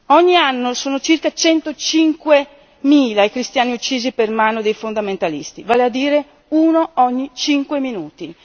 Ogni anno sono circa centocinquemila i cristiani uccisi per mano dei fondamentalisti, vale a dire uno ogni cinque minuti.